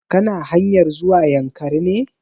Ka na hanyar zuwa yankari ne?